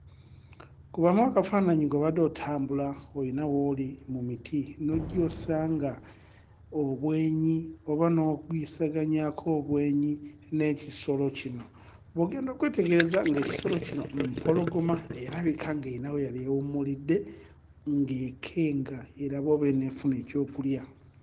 Kubamu akafaananyi ng'obadde otambula oyina wooli mu miti, n'ojja osanga obwenyi oba n'ogwisaganyako obwenyi n'ekisolo kino, bw'ogenda okwetegereza ng'ekisolo kino mpologoma erabika ng'eyina we yali ewummuludde ng'ekenga erabe oba eneefuna ekyokulya